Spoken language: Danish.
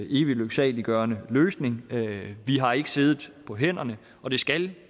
evig lyksaliggørende løsning vi har ikke siddet på hænderne og det skal